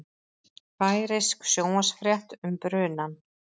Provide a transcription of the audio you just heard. Færeysk sjónvarpsfrétt um brunann